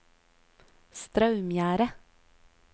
Straumgjerde